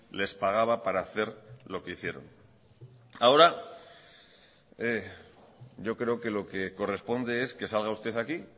les pagaba para hacer lo que hicieron ahora yo creo que lo que corresponde es que salga usted aquí